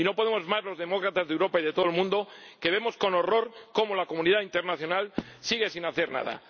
Y no podemos más los demócratas de Europa y de todo el mundo, que vemos con horror cómo la comunidad internacional sigue sin hacer nada.